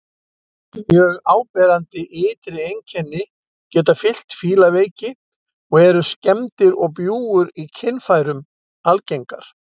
Mjög áberandi ytri einkenni geta fylgt fílaveiki og eru skemmdir og bjúgur í kynfærum algengar.